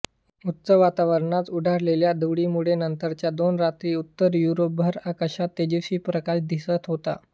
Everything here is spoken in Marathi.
उच्च वातावरणात उडालेल्या धुळीमुळे नंतरच्या दोन रात्री उत्तर युरोपभर आकाशात तेजस्वी प्रकाश दिसत होता